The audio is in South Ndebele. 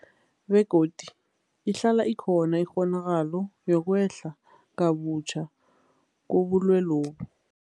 Begodu ihlala ikhona ikghonakalo yokwehla kabutjha kobulwelobu.